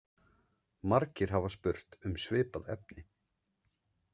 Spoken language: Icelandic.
Margir hafa spurt um svipað efni.